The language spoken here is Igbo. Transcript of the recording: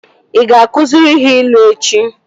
Ị ga-akụziri ha ilu echi?